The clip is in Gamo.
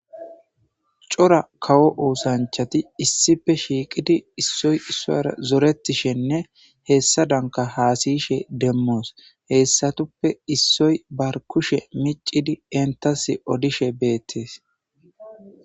Cora kawo oosanchchati Issippe shiqidi isoy isuwara zoretishshenne hessadankka hasayishshe demos hesatappe issoy ba kushshe micd entas odishshe bettes